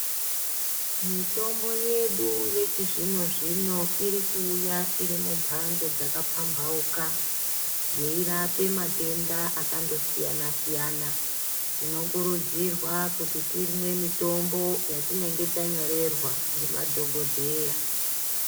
Mitombo yedu yechizvino-zvino iri kuuya iri mumhando dzakapambauka, yeirape matenda akandosiyana-siyana. Tinokurudzirwa kuti timwe mitombo yatinenge tanyorerwa ndimadhogodheya.